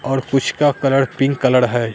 और कुछ का कलर पिंक कलर है।